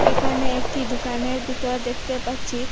একানে একটি দুকানের বিতর দেখতে পাচ্ছি।